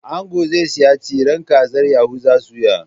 Ango zai siyi tsiran kazar Yahuza soya